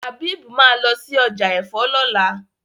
Habib má lọ sí ọjà èfó lola.